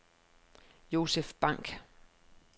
Josef Bank